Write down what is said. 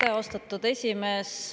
Aitäh, austatud esimees!